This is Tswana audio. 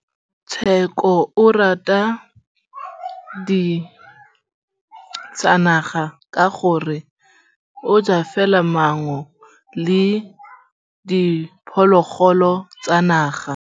Tshekô o rata ditsanaga ka gore o ja fela maungo le diphologolo tsa naga.